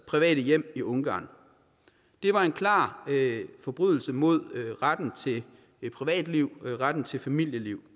private hjem i ungarn det var en klar forbrydelse mod retten til privatliv og retten til familieliv